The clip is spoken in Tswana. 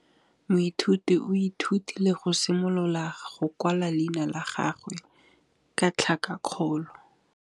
Moithuti o ithutile go simolola go kwala leina la gagwe ka tlhakakgolo.